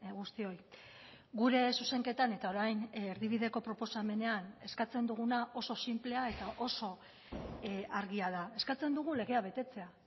guztioi gure zuzenketan eta orain erdibideko proposamenean eskatzen duguna oso sinplea eta oso argia da eskatzen dugu legea betetzea